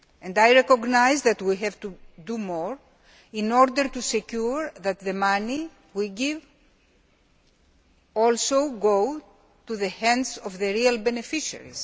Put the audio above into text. I recognise that we have to do more in order to ensure that the money we give goes into the hands of the real beneficiaries.